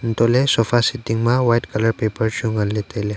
antohle sofa seat dingma white colour paper chu nganley tailey.